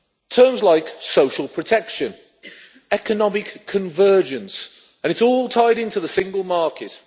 Terms like social protection', economic convergence' and it's all tied in to the Single Market.